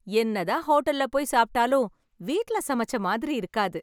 என்னதான் ஹோட்டல்ல போய் சாப்பிட்டாலும் வீட்டில் சமைச்ச மாதிரி இருக்காது